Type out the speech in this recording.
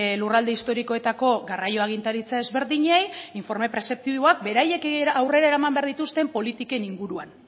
lurralde historikoetako garraio agintaritza desberdinei informe prezeptiboak beraiek aurrera eraman behar dituzten politiken inguruan